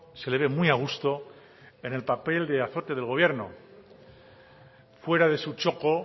se le ve muy a gusto en el papel de azote del gobierno fuera de su txoko